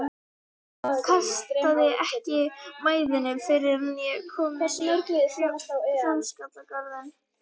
Kastaði ekki mæðinni fyrr en ég var kominn í Hljómskálagarðinn.